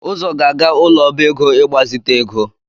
Uzo ga-aga ụlọ ọba ego, ịgbazite ego